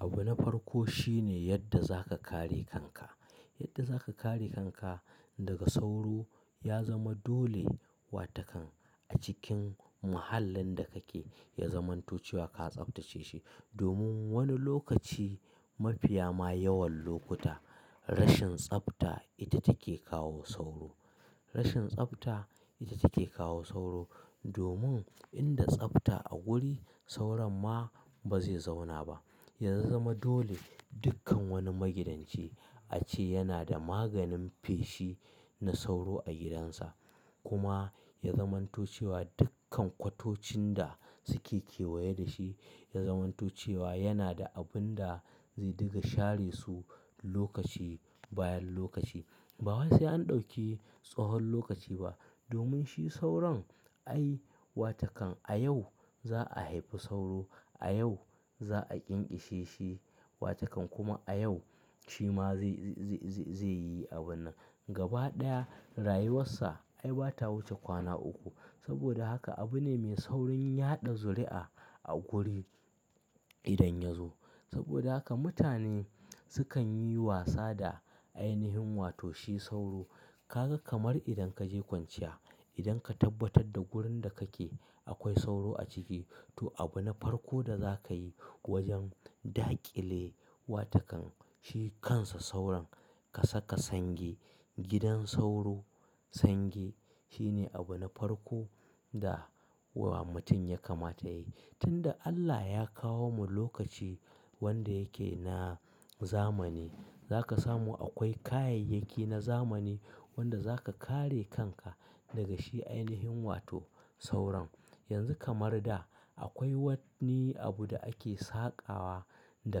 Abu na farko shine yadda za ka kare kanka. Yadda za ka kare kanka daga sauro ya zama dole, wa takan a cikin muhallin da kake ya zamanto cewa ka tsaftace shi. Domin wani lokaci, mafiya ma yawan lokuta rashin tsafta ita take kawo sauro. Rashin tsafta ita take kawo sauro, domin inda tsafta a guri sauron ma ba zai zauna ba. Ya zama dole dukkan wani magidanci a ce yana da maganin feshi na sauro a gidansa. Kuma ya zamanto cewa dukkan kwatocin da suke kewaye da shi, ya zamanto cewa yana da abun da zai diga share su lokaci bayan lokaci. Ba wa sai an ɗauki tsahon lokaci ba. Domin shi sauron, ai wa takan a yau za a haifi sauro, a yau za a ƙinƙishe shi wa takan kuma a yau shi ma zai, zai, zai, zai, zai yi abun nan. Gaba ɗaya rayuwarsa ai ba ta wuce kwana uku. Saboda haka abu ne mai saurin yaɗa zuri'a a guri idan ya zo. Saboda haka mutane sukan yi wasa da ainihin wato shi sauro. Kaga kamar idan ka je kwanciya, idan ka tabbatar da gurin da kake akwai sauro a ciki, to abu na farko da za ka yi wajen da ƙile wa takan shi kansa sauron, ka saka sange. Gidan sauro, sange shine abu na farko da wa mutum ya kamata ya yi. Tun da Allah ya kawo mu lokaci wanda yake na zamani, za ka samu akwai kayyayyaki na zamani wanda za ka kare kanka daga shi ainihin wato sauron. Yanzu kamar da akwai wanni abu da ake saƙawa da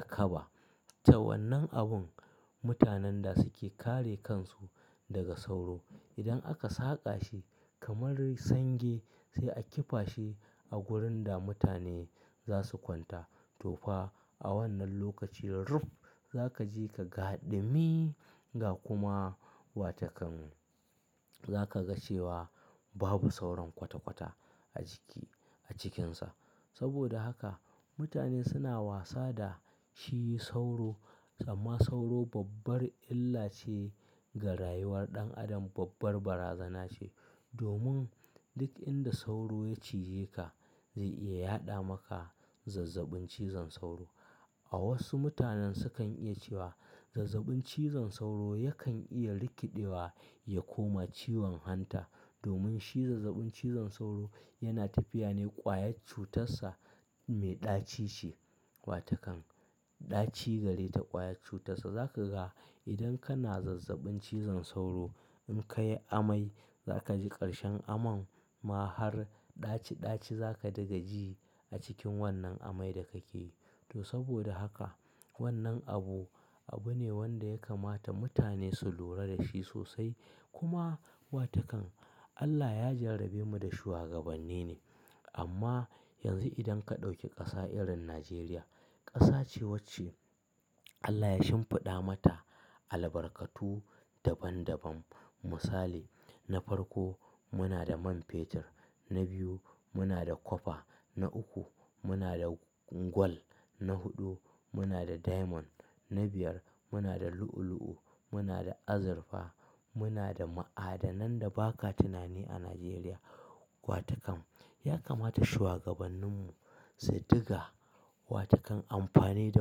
kaba. Ta wannan abun mutanen da suke kare kansu daga sauro. Idan aka saƙa shi kamar sange sai a kifashi a wurin da mutane za su kwanta. To fa a wannan lokaci ruf za ka je ka gaɗa mi ga kuma wa takan za ka ga cewa babu sauron kwata-kwata a jiki, a cikinsa. Saboda haka mutane suna wasa da shi sauro, amma sauro babbar illa ce ga rayuwar ɗan adam, babbar barazana ce. Domin duk inda sauro ya cije ka zai iya yaɗa maka zazzabin cizon sauro. A wasu mutanen sukan iya cewa zazzabin cizon sauro yakan iya rikidewa ya koma ciwon hanta. Domin shi zazzabin cizon sauro yana tafiya ne ƙwayar cutarsa mai ɗaci ce. Wa takan ɗaci gari da ƙwayar cutarsa. Za ka ga idan kana zazzabin cizon sauro in ka yi amai za ka ji ƙarshen aman ma har ɗaci-ɗaci za ka dinga ji a cikin wannan amai da kake. To saboda haka wannan abu, abu ne wanda ya kamata mutane su lura da shi sosai. Kuma wa takan Allah ya jarabe mu da shugabanni ne. Amma yanzu idan ka ɗauki ƙasa irin Najeriya, ƙasa ce wacce Allah ya shimfiɗa mata albarkatu daban-daban. Misali, na farko muna da man fetur, na biyu muna da kwafa, na uku muna da gwal, na huɗu muna da diamond, na biyar muna da lu'u-lu'u, muna da azurfa, muna da ma'adanan da ba ka tunani a Najeriya. Wa takan ya kamata shuwagabanninmu su dinga wa takan amfani da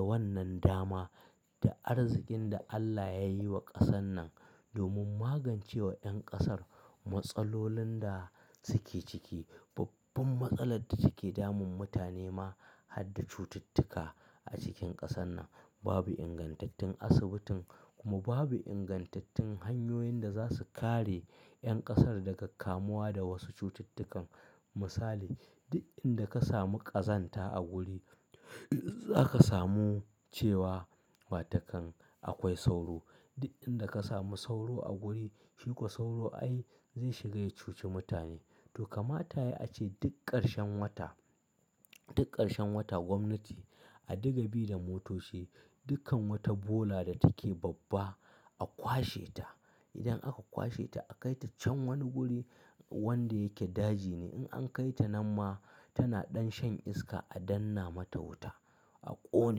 wannan dama da arzikin da Allah ya yi wa ƙasan nan domin magance wa ƴan ƙasar matsalolin da suke ciki. Babban matsalar da take damun mutane ma, hadda cututtuka a cikin ƙasan nan, babu ingantattun asibitin kuma babu ingantattun hanyoyin da za su kare ƴan ƙasar daga kamuwa da wasu cututtukan. Misali, duk inda ka samu ƙazanta a guri za ka samu cewa wa takan akwai sauro. Duk inda ka samu sauro a guri shiko sauro ai zai shiga ya cuci mutane. To kamata yayi a ce duk ƙarshen wata, duk ƙarshen wata gwamnati a dinga bi da motoci, dukkan wata bola da take babba a kwashe ta. Idan aka kwashe ta a kai ta can wani guri wanda yake daji ne. In an kai ta nan ma tana ɗan shan iska a danna mata wuta a ƙone.